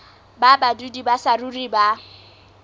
ba badudi ba saruri ba